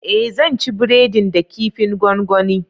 Ee zan ci breadin da kifin gongoni